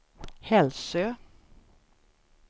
Hälsö